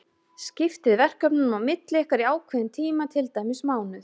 Skiptið verkefnunum á milli ykkar í ákveðinn tíma, til dæmis mánuð.